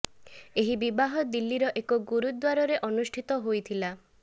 ଏହି ବିବାହ ଦିଲ୍ଲୀର ଏକ ଗୁରୁଦ୍ୱାରରେ ଅନୁଷ୍ଠିତ ହୋଇ ଥିଲା